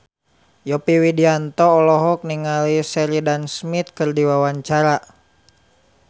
Yovie Widianto olohok ningali Sheridan Smith keur diwawancara